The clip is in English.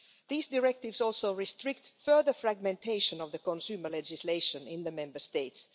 These directives also restrict further fragmentation of the consumer legislation in the Member States.